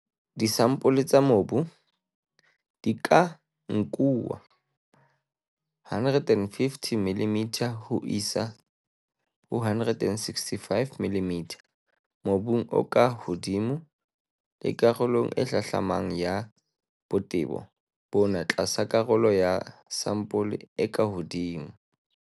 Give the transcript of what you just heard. Disampole tsa mobu di ka nkuwa 150 mm ho isa ho 165 mm mobung o ka hodimo le karolong e hlahlamang ya botebo bona tlasa karolo ya sampole e ka hodimo.